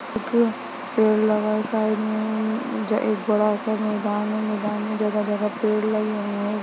--एक पेड़ लगा है साइड में एक बड़ा सा मैदान है मैदान में जगह जगह पेड़ लगे हुए है।